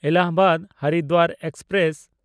ᱮᱞᱟᱦᱟᱵᱟᱫ–ᱦᱚᱨᱤᱫᱣᱟᱨ express